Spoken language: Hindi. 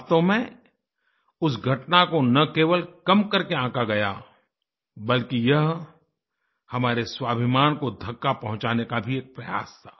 वास्तव में उस घटना को न केवल कम करके आँका गया बल्कि यह हमारे स्वाभिमान को धक्का पहुँचाने का भी एक प्रयास था